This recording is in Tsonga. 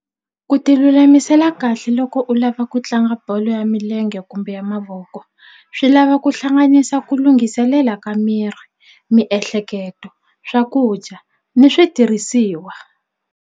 Ku ti lulamisela kahle loko u lava ku tlanga bolo ya milenge kumbe ya mavoko swi lava ku hlanganisa ku lunghiselela ka miri miehleketo swakudya ni switirhisiwa.